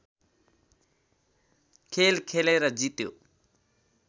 खेल खेलेर जित्यो